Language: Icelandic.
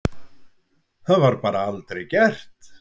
Það bara var aldrei gert.